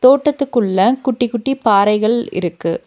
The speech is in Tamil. தோட்டத்துக்குள்ள குட்டி குட்டி பாறைகள் இருக்கு.